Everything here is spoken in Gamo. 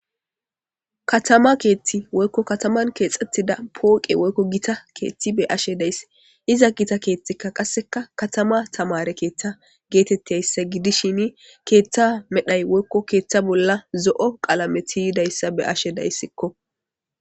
Katama keethti woykko kataman keexxettida pooqe woykko gita keethti be ashe dayssi iza gita keethtikka qasseka katama tamare keeththa geetettiyayssa gidishini keeththa medhay woykko keeththa bolla zo7o qalameti yidayssa be ashe dayssikko.